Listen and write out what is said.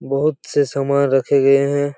बहोत से समान रखे गए हैं।